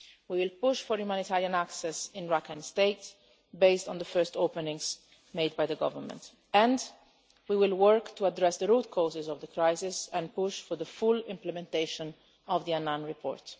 We will push for humanitarian access in Rakhine State, based on the first openings made by the Government, and we will work to address the root causes of the crisis and push for the full implementation of the Annan report.